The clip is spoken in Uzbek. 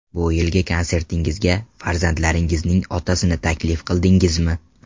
Bu yilgi konsertingizga farzandlaringizning otasini taklif qildingizmi?